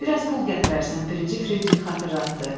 Bir az pul gətirərsən, birinci Fridrix xatırlatdı.